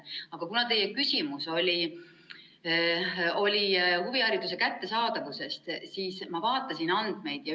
Aga kuna teie küsimus oli huvihariduse kättesaadavuse kohta, siis ma vaatasin andmeid.